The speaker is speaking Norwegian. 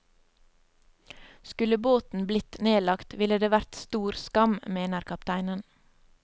Skulle båten blitt nedlagt, ville det vært stor skam, mener kapteinen.